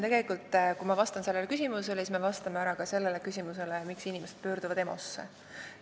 Tegelikult siis, kui ma vastan sellele küsimusele, ma vastan ära ka sellele, miks inimesed pöörduvad EMO-sse.